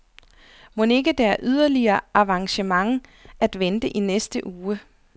Mon ikke der er yderligere avancement at vente i næste uge?